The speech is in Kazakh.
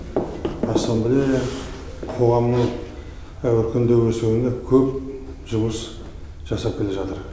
ассамблея қоғамның өркендеп өсуіне көп жұмыс жасап келе жатыр